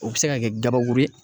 O bɛ se ka kɛ gabakuru ye.